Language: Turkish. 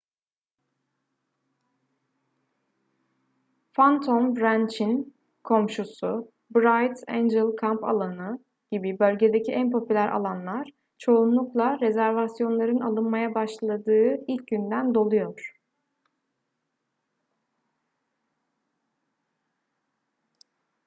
phantom ranch'in komşusu bright angel kamp alanı gibi bölgedeki en popüler alanlar çoğunlukla rezervasyonların alınmaya başladığı ilk günden doluyor